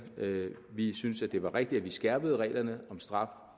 vi synes det var rigtigt at vi skærpede reglerne om straf